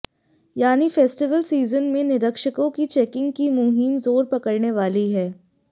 यानी festival season में निरीक्षकों की चैकिंग की मुहिम जोर पकड़ने वाली है